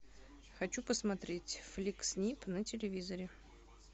хочу посмотреть фликс нип на телевизоре